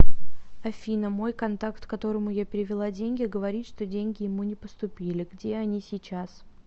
афина мой контакт которому я перевела деньги говорит что деньги ему не поступили где они сейчас